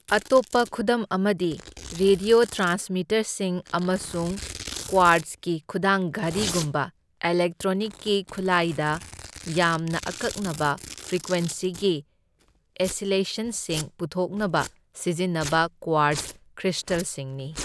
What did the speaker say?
ꯑꯇꯣꯞꯄ ꯈꯨꯗꯝ ꯑꯃꯗꯤ ꯔꯦꯗꯤꯑꯣ ꯇ꯭ꯔꯥꯟꯁꯃꯤꯇꯔꯁꯤꯡ ꯑꯃꯁꯨꯡ ꯀ꯭ꯋꯥꯔꯠꯖꯀꯤ ꯈꯨꯗꯥꯡ ꯘꯥꯔꯤꯒꯨꯝꯕ ꯏꯂꯦꯛꯇ꯭ꯔꯣꯅꯤꯛꯀꯤ ꯈꯨꯠꯂꯥꯏꯗ ꯌꯥꯝꯅ ꯑꯀꯛꯅꯕ ꯐ꯭ꯔꯤꯀ꯭ꯋꯦꯟꯁꯤꯒꯤ ꯑꯣꯁꯤꯂꯦꯁꯟꯁꯤꯡ ꯄꯨꯊꯣꯛꯅꯕ ꯁꯤꯖꯤꯟꯅꯕ ꯀ꯭ꯋꯥꯔꯠꯖ ꯈ꯭ꯔꯤꯁꯇꯜꯁꯤꯡꯅꯤ꯫